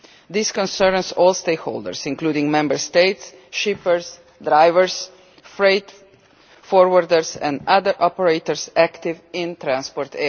This concerns all stakeholders including Member States, shippers, drivers, freight forwarders and other operators active in transport.